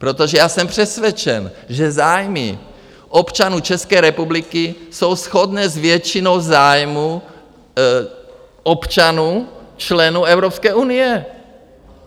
Protože já jsem přesvědčen, že zájmy občanů České republiky jsou shodné s většinou zájmů občanů, členů Evropské unie.